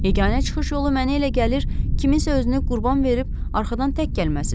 Yeganə çıxış yolu mənə elə gəlir, kimsə özünü qurban verib arxadan tək gəlməsidir.